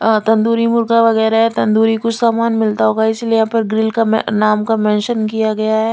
अ तंदूरी मुर्गा वगेरा तंदूरी कुछ सामान मिलता होगा इसलिए यहाँ पर ग्रिल का नाम का मेंशन किया गया है।